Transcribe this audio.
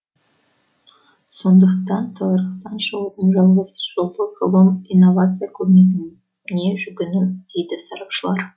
сондықтан тығырықтан шығудың жалғыз жолы ғылым инновация көмегіне жүгіну дейді сарапшылар